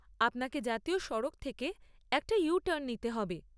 আপনাকে জাতীয় সড়ক থেকে একটা ইউ টার্ন নিতে হবে।